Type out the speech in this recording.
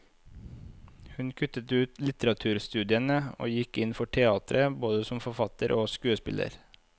Hun kuttet ut litteraturstudiene og gikk inn for teateret, både som forfatter og skuespiller.